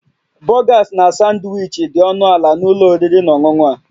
Burgers na Sanwichi dị ọnụ ala na ụlọ oriri na ọṅụṅụ a